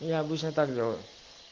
я обычно так делаю